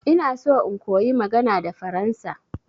Ina so in koyi magana da faransa.